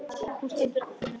Hún stendur ekki fyrir neitt.